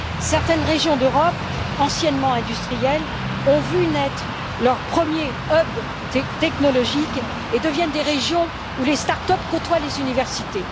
Certaines régions d'Europe, anciennement industrielles, ont vu naître leur premier hub technologique et deviennent des régions où les start up côtoient les universités.